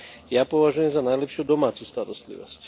Ja považujem za najlepšiu domácu starostlivosť.